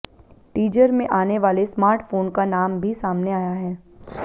teaser में आने वाले स्मार्टफोन का नाम भी सामने आया है